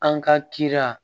An ka kira